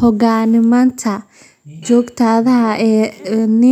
Hogaanka xisbiga waxaa muddo dheer hayay , oo ah siyaasi caan ah kana mid ah dadka ugu